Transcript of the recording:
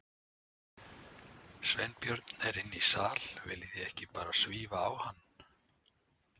Sveinbjörn er inni í sal, viljið þið ekki bara svífa á hann?